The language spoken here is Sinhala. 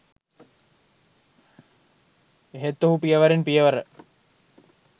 එහෙත් ඔහු පියවරෙන් පියවර